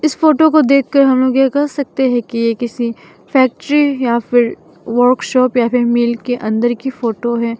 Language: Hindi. इस फोटो को देख कर हम लोग यह कह सकते हैं कि यह किसी फैक्ट्री या फिर वर्कशॉप या फिर मिल के अंदर की फोटो है।